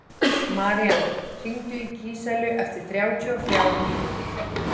Marían, hringdu í Gíselu eftir þrjátíu og þrjár mínútur.